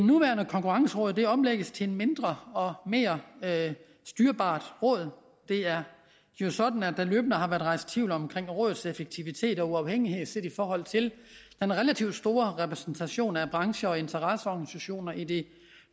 nuværende konkurrenceråd omlægges til et mindre og mere styrbart råd det er jo sådan at der løbende har været rejst tvivl om rådets effektivitet og uafhængighed set i forhold til den relativt store repræsentation af brancher og interesseorganisationer i det